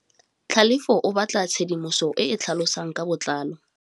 Tlhalefô o batla tshedimosetsô e e tlhalosang ka botlalô.